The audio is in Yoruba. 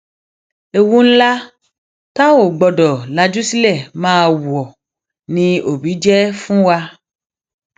ewu ńlá tá a ò gbọdọ lajú sílẹ máa wọ ni òbí jẹ fún wa